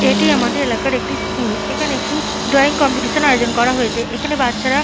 এটি আমাদের এলাকার একটি স্কুল এখানে একটি ড্রয়িং কম্পিটিশনের আয়োজন করা হয়েছে এখানে বাচ্চারা--